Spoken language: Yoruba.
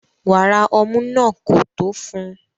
Wàrà ọmú náà kò tó fún un